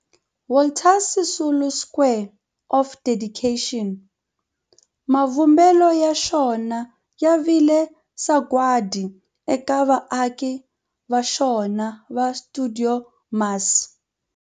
Walter Sisulu Square of Dedication, mavumbelo ya xona ya vile sagwadi eka vaaki va xona va stuidio MAS.